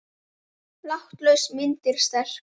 Látlaus mynd en sterk.